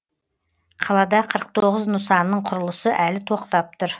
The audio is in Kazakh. қалада қырық тоғыз нысанның құрылысы әлі тоқтап тұр